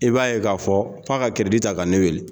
I b'a ye k'a fɔ f'a ka ta ka ne wele.